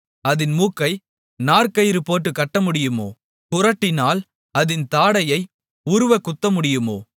அதின் மூக்கை நார்க்கயிறு போட்டுக் கட்டமுடியுமோ குறட்டினால் அதின் தாடையை உருவக் குத்தமுடியுமோ